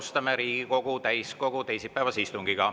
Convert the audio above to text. Alustame Riigikogu täiskogu teisipäevast istungit.